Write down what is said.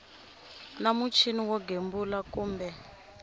na muchini wo gembula kumbe